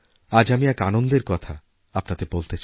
আজ আমি এক আনন্দের কথা আপনাদের বলতে চাই